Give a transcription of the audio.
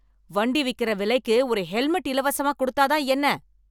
வண்டி விக்கிற விலைக்கு ஒரு ஹெல்மெட் இலவசமா கொடுத்தா தான் என்ன?